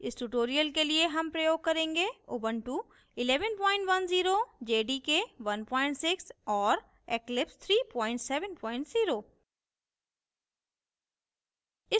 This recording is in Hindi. इस tutorial के लिए हम प्रयोग करेंगे